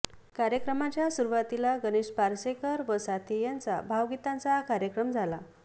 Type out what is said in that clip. कार्यक्रमाच्या सुरुवातीला गणेश पार्सेकर व साथी यांचा भावगीतांचा कार्यक्रम झाला